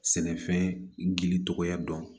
Sɛnɛfɛn gili tɔgɔya dɔn